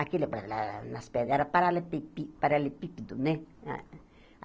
Aquilo balalalala nas pedras era paralepí pi paralepípedo, né?